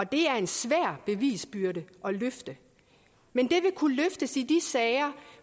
det er en svær bevisbyrde at løfte men det vil kunne løftes i de sager